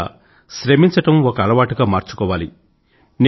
ఎక్కువగా శ్రమించడం ఒక అలవాటుగా మార్చుకోవాలి